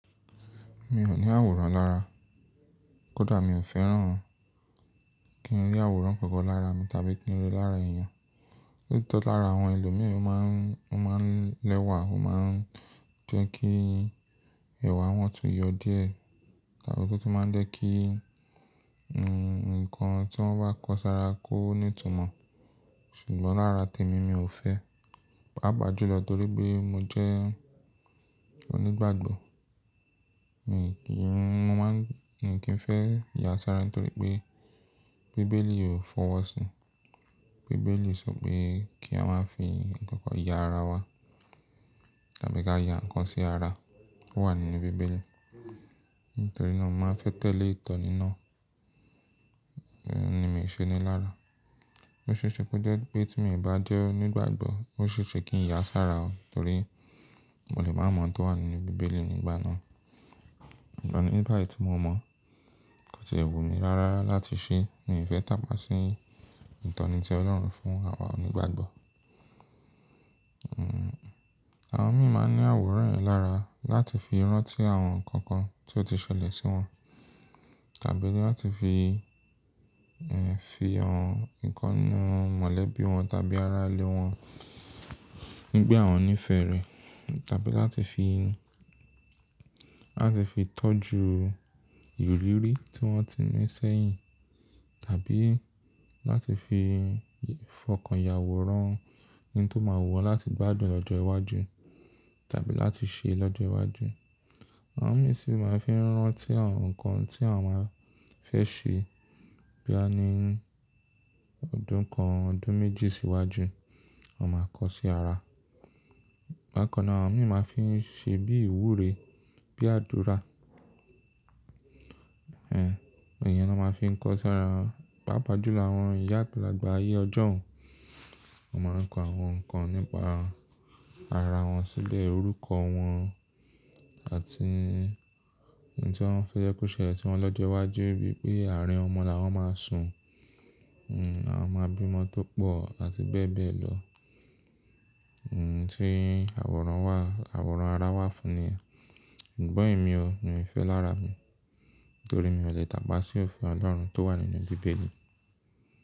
Mi ò ní àwòrán lára, kódà mi ò fẹ́ràn kí n rí àwòrán kankan lára mi tàbí kí n ríi lára ẹ̀yàn. Nítọ̀ rí lára àwọn ẹlòmíràn máa ń lẹ́wà, ó máa ń jẹ́ kí ẹ̀wà wọn tún yọ díẹ̀ tàbí ó tún máa ń jẹ́ kí ǹkan tí wọ́n bá kọ sára kó ní ìtumọ̀. Ṣùgbọ́n lára tèmi, mi ò fẹ́, pàápàá jùlọ torí pé mo jẹ́ onígbàgbọ́. Mi kì í, mo máa ń, mi kì í fẹ́ ya sára torí pé bíbélì ò fọwọ́ sí. Bíbélì sọ pé kí a máa fi ǹkan kan ya ara wa tàbí kí a ya ǹkan sí ara, ó wà nínú bíbélì. Nítorí náà, mo máa fẹ́ tẹ̀lé ìtọ́ni náà, òun ni mi ò ṣe ni lára. Ó ṣe é ṣe pé jẹ́ pé tí mo ì bá jẹ́ onígbàgbọ́, ó ṣe é ṣe kí n ya sára o torí mo lè má mọ̀ ohun tó wà nínú bíbélì nígbà náà. Ṣùgbọ́n nígbà tí mo mọ̀, kò sì wù mi rárá láti ṣe, mo ì fẹ́ tàpá sí ìtọ́ni tí Ọlọ́run fún àwa onígbàgbọ́. Hmm, àwọn mìíràn máa ń ní àwòrán lára láti fi rántí àwọn ǹkan kan tí ó ti ṣẹlẹ̀ sí wọn tàbí láti fi, ẹ́ fi hàn ìkannu mọ̀lẹ́bí wọn tàbí arálẹ̀ wọn nígbà wọ́n ní ìfẹ́ rẹ̀ tàbí láti fi, láti fi tọ́jú ìrírí tí wọ́n ti ní sẹ́yìn tàbí láti fi fọkàn ìyàwòrán ohun tó máa wù wọ́n láti gbádùn lọ́jọ́ iwájú tàbí láti ṣe lọ́jọ́ iwájú. Àwọn mìíràn sì máa ń fi rántí àwọn ǹkan tí àwọn máa fẹ́ ṣe bí a ni ọdún kan, ọdún méjì sí iwájú, wọ́n máa kọ sí ara. Bákan náà, àwọn mìíràn máa ń fi ṣe bí ìwúre, bí àdúrà. Ẹ̀hẹ̀, èèyàn ni wọ́n ma fi ń kọ sára, pàápàá jù lọ àwọn ìyá ágbálàgbà ayé ọjọ́un. Wọ́n máa ń kọ àwọn ǹkan nípa ara wọn sílẹ̀, orúkọ wọn àti ohun tí wọ́n fẹ́ yẹ kó ṣẹlẹ̀ tí wọn lọ́jọ́ iwájú bíi pé ààrín ọmọ làwọn máa sun, hmm àwọn máa bí ọmọ tó pọ̀ àti bẹ́ẹ̀ bẹ́ẹ̀ lọ. Hmm tí àwòrán wà, àwòrán ara wà fún ni yẹn. Ṣùgbọ́n èmi o, mi ò fẹ́ lára mi torí mi ò lè tàpá sí òfin Ọlọ́run tó wà nínú bíbélì.